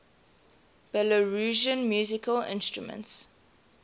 belarusian musical instruments